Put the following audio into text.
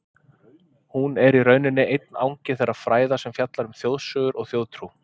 Hún er í rauninni einn angi þeirra fræða sem fjalla um þjóðsögur og þjóðtrú.